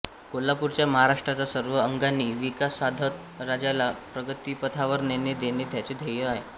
कोल्हापूरचा महाराष्ट्राचा सर्व अंगांनी विकास साधत राज्याला प्रगतिपथावर नेणे हे त्यांचे ध्येय आहे